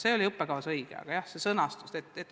See oli õppekavas õige teema, aga selle sõnastus mitte.